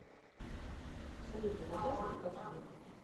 салют поболтай со мной как ева